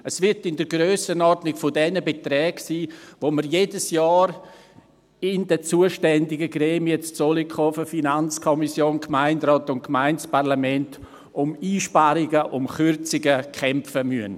Es wird in der Grössenordnung der Beträge sein, bei denen wir in den zuständigen Gremien in Zollikofen – Finanzkommission, Gemeinderat und Gemeindeparlament – jedes Jahr um Einsparungen, um Kürzungen, kämpfen müssen.